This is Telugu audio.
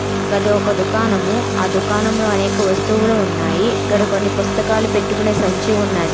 గది ఒక దుకాణము. ఆ దుకాణంలో అనేక వస్తువులు ఉన్నాయి. గాడ కొన్ని పుస్తకాలు పెట్టుకునే సంచి ఉన్నది.